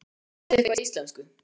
Kanntu eitthvað í íslensku?